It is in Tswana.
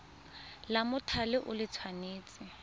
la mothale o le tshwanetse